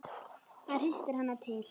Hann hristir hana til.